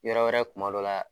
Yɔrɔ wɛrɛ kuma dɔ la